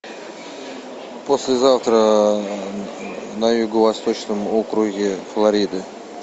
послезавтра на юго восточном округе флориды